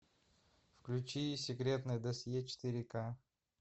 включи секретное досье четыре ка